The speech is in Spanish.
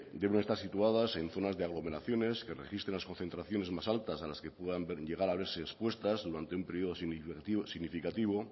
deben estar situadas en zonas de aglomeraciones que registran las concentraciones más altas a las que puedan ver y llegar a verse expuestas durante un periodo significativo